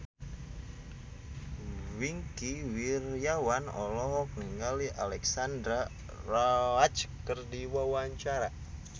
Wingky Wiryawan olohok ningali Alexandra Roach keur diwawancara